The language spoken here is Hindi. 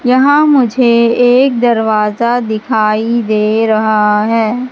यहां मुझे एक दरवाजा दिखाई दे रहा है।